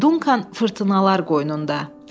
Dunkan fırtınalar qoynunda.